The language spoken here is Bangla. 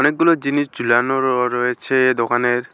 গুলো জিনিস ঝুলানো রো রয়েছে দোকানের।